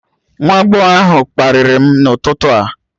Nwa agbọghọ ahụ kparịrị m n'ụtụtụ a